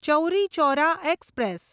Chauri Chaura express